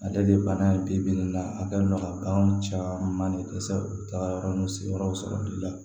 Ale de ye bana ye bi bi in na a kɛlen don ka bagan caman de dɛsɛ u taara yɔrɔ n'u sigiyɔrɔ sɔrɔli la